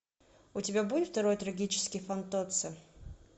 у тебя будет второй трагический фантоцци